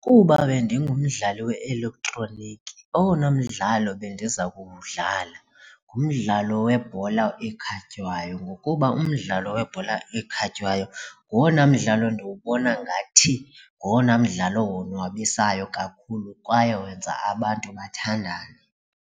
Kuba bendingumdlali we-elektroniki owona mdlalo bendiza kuwudlala ngumdlalo webhola ekhatywayo ngokuba umdlalo webhola ekhatywayo nguwona mdlalo ndiwubona ngathi ngowona mdlalo wonwabisayo kakhulu kwaye wenza abantu bathandane.